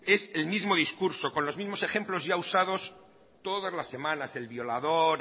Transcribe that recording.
es el mismo discurso con los mismos ejemplos ya usados todas las semanas el violador